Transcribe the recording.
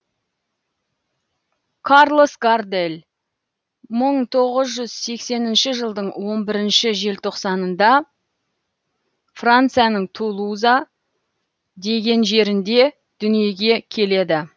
карлос гардель мың тоғыз жүз сексенінші жылдың он бірінші желтоқсанында францияның тулуза деген жерінде дүниеге келеді